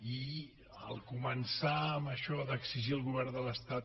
i al començar amb això d’exigir al govern de l’estat